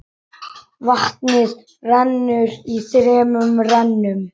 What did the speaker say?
Vatnið rennur í þremur rennum.